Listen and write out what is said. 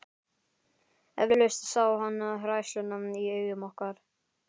Eflaust sá hann hræðsluna í augum okkar.